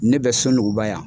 Ne bɛ SUNUGUBA yan.